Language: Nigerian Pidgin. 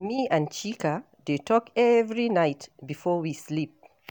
Me and Chika dey talk every night before we sleep.